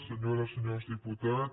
senyores i senyors diputats